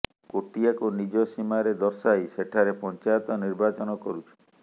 କୋଟିଆକୁ ନିଜ ସୀମାରେ ଦର୍ଶାଇ ସେଠାରେ ପଞ୍ଚାୟତ ନିର୍ବାଚନ କରୁଛି